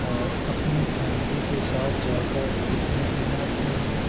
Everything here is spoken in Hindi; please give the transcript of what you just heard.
और अपनी फैमिली के साथ जाकर पिकनिक मनाते हैं ।